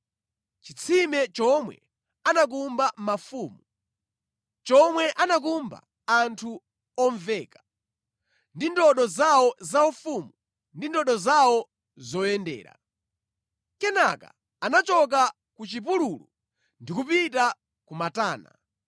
chitsime chomwe anakumba mafumu, chomwe anakumba anthu omveka, ndi ndodo zawo zaufumu ndi ndodo zawo zoyendera.” Kenaka anachoka ku chipululu ndi kupita ku Matana.